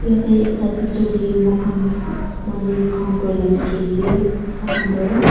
Eteh ekta picture dae mokhan manu kam kuri la dekhe ase thakan tuh--